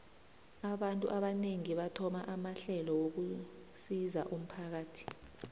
abantu abanengi bathoma amahlelo wokusizo umphakathi